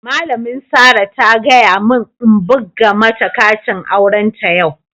Malamin Sarah ta gaya mun n'buga mata katin auren ta yau.